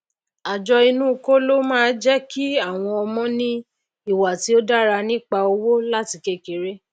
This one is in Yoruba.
àjọ inú kóló máá jékí áwọn ọmọ ní ìwà tó dára nípa owó láti kékeré